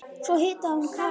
Svo hitaði hún kakó.